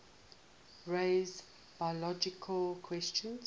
raise biological questions